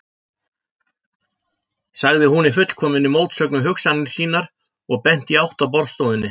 sagði hún, í fullkominni mótsögn við hugsanir sínar og benti í átt að borðstofunni.